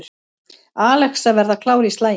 Alex að verða klár í slaginn